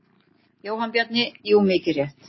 Jóhann Bjarni: Jú mikið rétt.